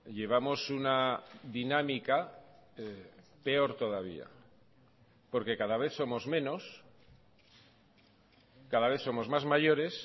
llevamos una dinámica peor todavía porque cada vez somos menos cada vez somos más mayores